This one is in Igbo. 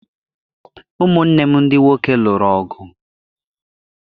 Ụmụnne m ndị nwoke lụrụ ọgụ